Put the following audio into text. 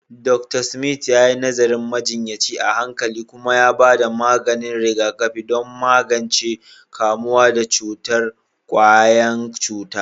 Dr. Smith yayi nazarin majinyaci a hankali kuma ya bada maganin rigakafi don magance kamuwa da cutar ƙwayan cuta.